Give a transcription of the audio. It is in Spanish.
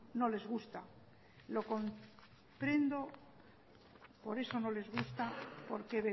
no les gusta lo comprendo por eso no les gusta porque